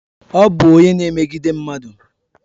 Ọ bụ onye na emegidi mmadụ